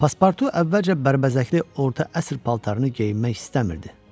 Paspartu əvvəlcə bərbəzəkli orta əsr paltarını geyinmək istəmirdi.